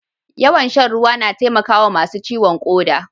Yawan shan ruwa na taimakawa masu ciwon koda.